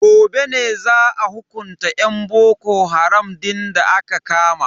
Gobe ne za a hukunta yan boko haram din da aka kama.